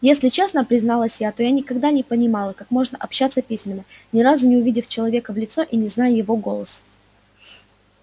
если честно призналась я то я никогда не понимала как можно общаться письменно ни разу не увидев человека в лицо и не зная его голоса